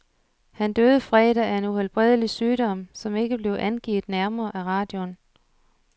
Han døde fredag af en uhelbredelig sygdom, som ikke blev angivet nærmere af radioen.